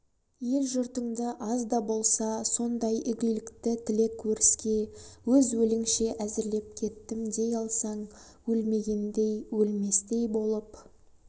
ел жұртыңды аз да болса сондай игілікті тілек өріске өз өліңше әзірлеп кеттім дей алсаң өлмегендей өлместей болып